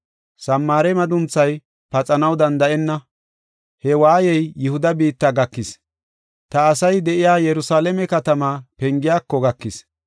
Samaare madunthay paxanaw danda7enna. He waayey Yihuda biitta gakis; ta asay de7iya Yerusalaame katamaa pengiyako gakis.